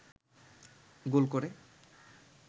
গোল করে